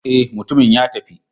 Eh, mutumin ya tafi.